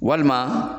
Walima